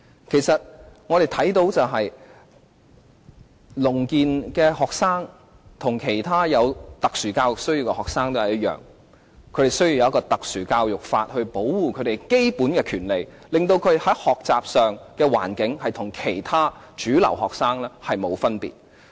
其實，聾健學生和其他有特殊教育需要的學生一樣，他們需要特殊教育法來保障他們的基本權利，令他們的學習環境與其他主流學生沒有分別。